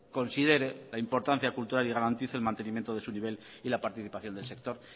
considere la importancia cultural y garantice el mantenimiento de su nivel y la participación del sector